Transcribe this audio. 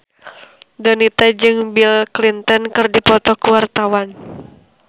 Donita jeung Bill Clinton keur dipoto ku wartawan